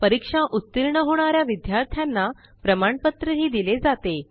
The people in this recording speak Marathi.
परीक्षा उत्तीर्ण होणा या विद्यार्थ्यांना प्रमाणपत्रही दिले जाते